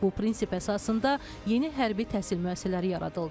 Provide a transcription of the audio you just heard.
Bu prinsip əsasında yeni hərbi təhsil müəssisələri yaradıldı.